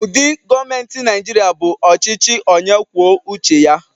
Ụdị gọọmenti Nigeria bụ ọchịchị onye kwuo uche ya.